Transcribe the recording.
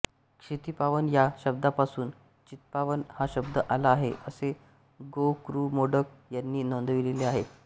क्षितिपावन या शब्दापासून चित्पावन हा शब्द आला आहे असे गो कृ मोडक यांनी नोंदविलेले आहे